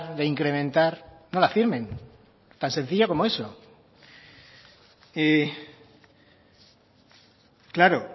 de incrementar no la firmen tan sencillo como eso y claro